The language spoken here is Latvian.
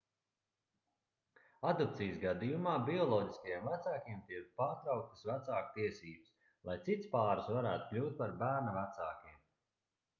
adopcijas gadījumā bioloģiskajiem vecākiem tiek pārtrauktas vecāku tiesības lai cits pāris varētu kļūt par bērna vecākiem